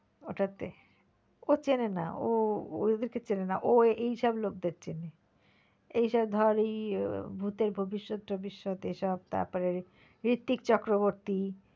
ওটা তে, ও চেনে না ও ওদের কে চেনে না ও এইসব লোকদের চেনে এইসব ধর এই ভুতের ভবিষ্যৎ টবিষ্যৎ এইসব তারপরে ঋত্বিক চক্রবর্তী